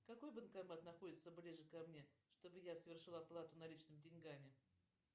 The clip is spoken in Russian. какой банкомат находится ближе ко мне чтобы я совершила оплату наличными деньгами